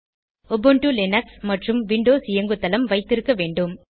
Ubuntu Linux மற்றும் Windows இயங்குதளம் வைத்திருக்க வேண்டும்